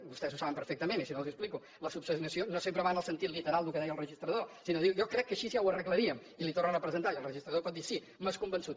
vostès ho saben perfectament i si no els ho explico l’esmena no sempre va en el sentit literal del que deia el registrador sinó de dir jo crec que així ja ho arreglaríem i la hi tornen a presentar i el registrador pot dir sí m’has convençut